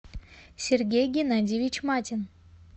сергей геннадьевич матин